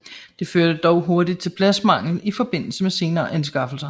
Det førte dog hurtigt til pladsmangel i forbindelse med senere anskaffelser